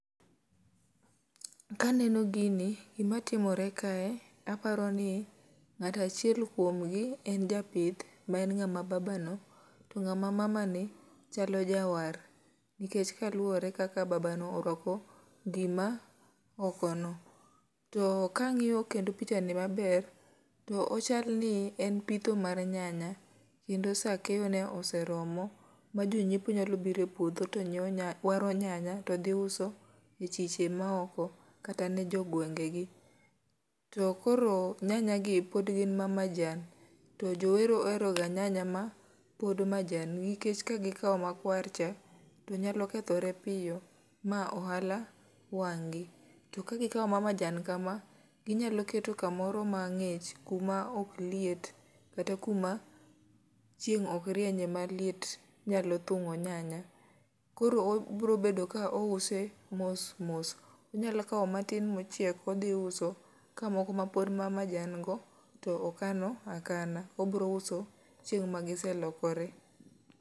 Kaneno gini, gima timore kae aparo ni ng'atachiel kuom gi en japith ma en ng'ama baba no. To ng'ama mama ni chalo ja war, nikech kaluwore kaka baba no orwako gima oko no. To kang'iyo kendo picha ni maber, to ochal ni en pitho mar nyanya. Kendo sa keyo ne oseromo, ma jonyiepo nyalo biro e puodho to nyiewo nya waro nyanya to dhi uso e chiche ma oko kata ne jo gwenge gi. To koro nyanya gi pod gin ma majan, to jowero ohero ga nyanya ma pod majan, nikech ka gikawo makwar cha to nyalo kethore piyo ma ohala wang' gi. To ka gikawo ma majan kama, ginyalo keto kamoro ma ng'ich, kuma ok liet kata kuma chieng' ok rienye ma liet nyalo thing'o nyanya. Koro obro bedo ka ouse mos mos, onyalo kawo matin mochiek odhi uso, ka moko mapod ma majan go to okano akana. Obro uso chieng' ma gise lokore.